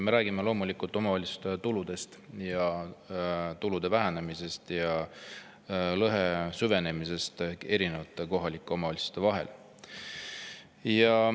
Me räägime loomulikult omavalitsuste tuludest, nende tulude vähenemisest ja lõhe süvenemisest kohalike omavalitsuste vahel.